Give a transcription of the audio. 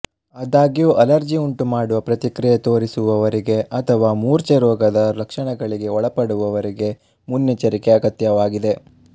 ಆದಾಗ್ಯೂ ಅಲರ್ಜಿ ಉಂಟುಮಾಡುವ ಪ್ರತಿಕ್ರಿಯೆ ತೋರಿಸುವವರಿಗೆ ಅಥವಾ ಮೂರ್ಛೆರೋಗದ ಲಕ್ಷಣಗಳಿಗೆ ಒಳಪಡುವವರಿಗೆ ಮುನ್ನೆಚ್ಚರಿಕೆ ಅಗತ್ಯವಾಗಿದೆ